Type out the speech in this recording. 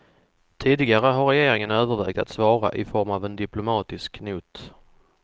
Tidigare har regeringen övervägt att svara i form av en diplomatisk not.